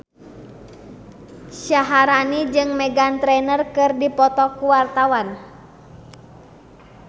Syaharani jeung Meghan Trainor keur dipoto ku wartawan